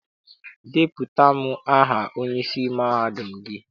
Depụtara m aha onyeisi mahadum gị!